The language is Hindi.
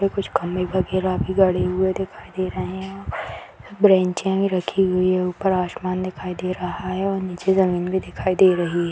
कुछ खम्बे वगैरा गड़े हुए दिखाई दे रहे है बेंचे रखी हुई है ऊपर आसमान दिखाई दे रहा है और नीचे जमीन भी दिखाई दे रही है ।